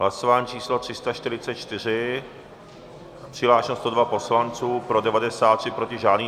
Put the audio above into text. Hlasování číslo 344, přihlášeno 102 poslanců, pro 93, proti žádný.